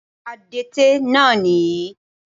Adẹ́tẹ̀ náà nìyí